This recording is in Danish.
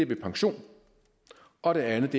pensionering og det andet